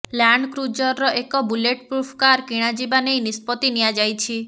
ଲ୍ୟାଣ୍ଡକୃଜରର ଏକ bulletproof car କିଣାଯିବା ନେଇ ନିଷ୍ପତ୍ତି ନିଆଯାଇଛି